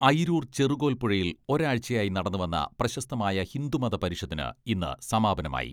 അയിരൂർ ചെറുകോൽപ്പുഴയിൽ ഒരാഴ്ചയായി നടന്നു വന്ന പ്രശസ്തമായ ഹിന്ദു മത പരിഷത്തിന് ഇന്ന് സമാപനമായി.